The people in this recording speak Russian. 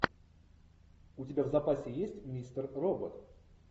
у тебя в запасе есть мистер робот